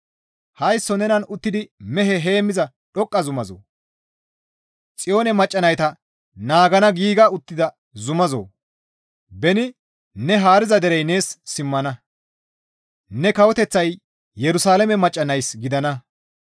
Haysso nenan uttidi mehe heemmiza dhoqqa zumazoo! Xiyoone macca nayta naagana giiga uttida zumazoo! Beni ne haariza derey nees simmana; ne kawoteththay Yerusalaame macca nays gidana.